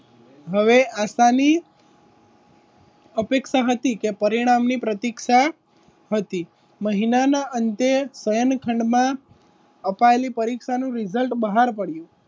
હવે આસાની અપેક્ષા હતી કે પરિણામ ની પ્રતીક્ષા હતી મહિનાના અંતે સ્વયં ખંડમાં અપાયેલી પરીક્ષાનું રિઝલ્ટ બહાર પડ્યું.